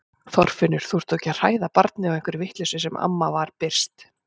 Þorfinnur, þú ert þó ekki að hræða barnið á einhverri vitleysu amma var byrst.